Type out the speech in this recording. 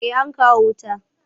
Eh an kawo wuta.